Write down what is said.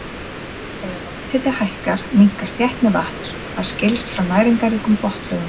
Þegar lofthiti hækkar minnkar þéttni vatns og það skilst frá næringarríkum botnlögum.